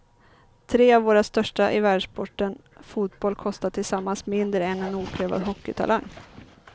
Tre av våra största i världssporten fotboll kostar tillsammans mindre än en oprövad hockeytalang.